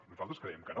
nosaltres creiem que no